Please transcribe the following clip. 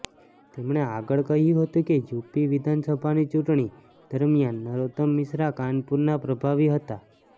તેમણે આગળ કહ્યું હતું કે યુપી વિધાનસભાની ચૂંટણી દરમ્યાન નરોત્તમ મિશ્રા કાનપુરના પ્રભારી હતા